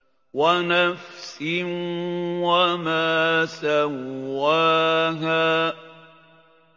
وَنَفْسٍ وَمَا سَوَّاهَا